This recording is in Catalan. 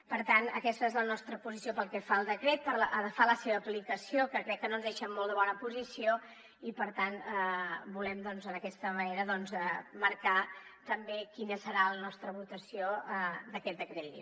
per tant aquesta és la nostra posició pel que fa al decret pel que fa a la seva aplicació que crec que no ens deixa en molt bona posició i per tant volem doncs d’aquesta manera marcar també quina serà la nostra votació d’aquest decret llei